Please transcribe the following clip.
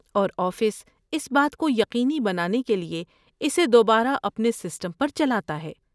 اور آفس اس بات کو یقینی بنانے کے لیے اسے دوبارہ اپنے سسٹم پر چلاتا ہے۔